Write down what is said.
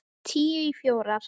Tíu í fjórar.